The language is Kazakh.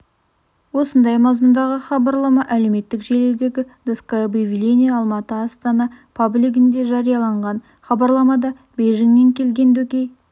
осындай мазмұндағы хабарлама әлеуметтік желісіндегі доска объявлений алматы астана паблигінде жарияланған хабарламада бейжіңнен келген дөкей